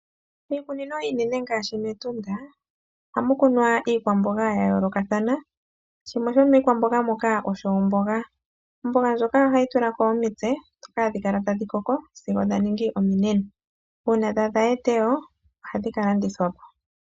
Iikunino iinene ngaashi mEtunda ohamu kunwa iikwamboga ya yoolokathana shimwe shomiikwamboga moka osho omboga. Omboga ndjoka ohayi tulako omitse ndhoka hadhi kala tadhi koko sigo dha ningi ominene uuna dha adha etewo ohadhi ka landithwapo.